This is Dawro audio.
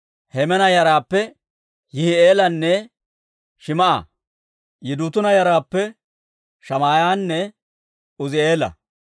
Hemaana yaraappe Yihi'eelanne Shim"a. Yidutuuna yaraappe Shamaa'iyaanne Uuzi'eela.